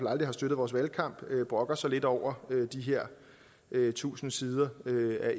aldrig støttet vores valgkamp brokker sig lidt over de her tusind siders